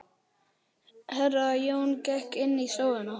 Herra Jón gekk inn í stofuna.